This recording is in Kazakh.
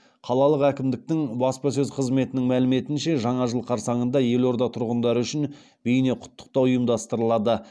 қалалық әкімдіктің баспасөз қызметінің мәліметінше жаңа жыл қарсаңында елорда тұрғындары үшін бейне құттықтау ұйымдастырылады